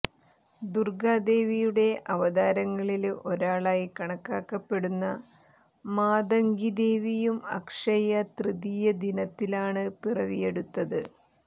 ദുര്ഗാദേവിയുടെ അവതാരങ്ങളില് ഒരാളായി കണക്കാക്കപ്പെടുന്ന മാതംഗി ദേവിയും അക്ഷയ തൃതീയ ദിനത്തിലാണ് പിറവിയെടുത്തത്